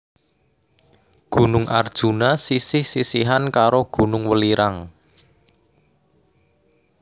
Gunung Arjuna sisih sisihan karo Gunung Welirang